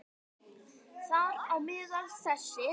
Þar á meðal þessir